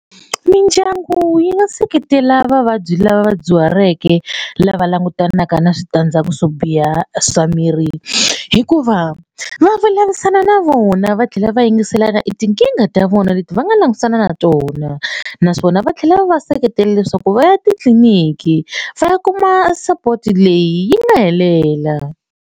Mindyangu yi nga seketela vavabyi lava vadyuhaleke lava langutanaka na switandzhaku swo biha swa miri hikuva va vulavurisana na vona va tlhela va yingiselana i tinkingha ta vona leti va nga langutisana na tona naswona va tlhela va va seketela leswaku va ya titliliniki va ya kuma support leyi yi nga helela.